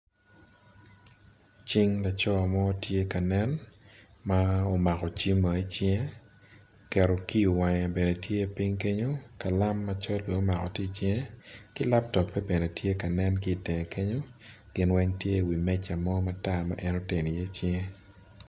Cing laco mo tye ka nen ma omako cim o icinge oketo kiyo i wange bene tye ping kenyo kalama macol bene omako tye i cinge kilaptope bene tye ka nen kitenge kenyo gin weng tye i wi meca mo matar ma en oteno i ye cinge.